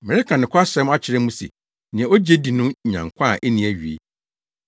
Mereka nokwasɛm akyerɛ mo se, nea ogye di no nya nkwa a enni awiei.